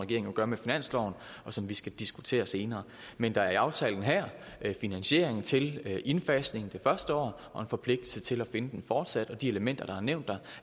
jo gør med finansloven og som vi skal diskutere senere men der er i aftalen her finansiering til indfasning det første år og en forpligtelse til at finde den fortsat og de elementer der er nævnt der